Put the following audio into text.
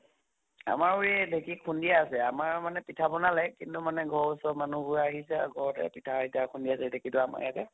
আমাৰো এই ঢেকী খুন্দি আছে আমাৰ মানে পিঠা পনা like কিন্তু মানে ঘৰৰ ওচৰৰ মানুহ বোৰ আহিছে আৰু ঘৰতে পিঠা আইতা খুন্দি আছে ঢেকীতো আমাৰ ইয়াতে